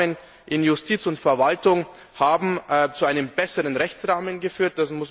Und Reformen in Justiz und Verwaltung haben zu einem besseren Rechtsrahmen geführt.